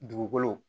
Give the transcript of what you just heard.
Dugukolo